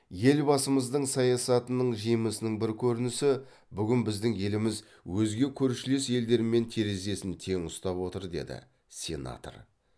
елбасымыздың саясатының жемісінің бір көрінісі бүгін біздің еліміз өзге көршілес елдермен терезесін тең ұстап отыр деді сенатор